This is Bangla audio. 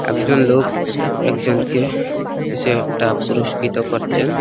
একজন লোক একজনকে কিছু একটা পুরস্কৃত করছেন।